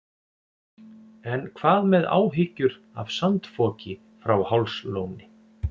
En hvað með áhyggjur af sandfoki frá Hálslóni?